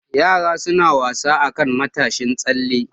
Yara suna wasa akan matashin tsalle.